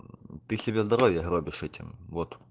ты себя здоровье гробишь этим вот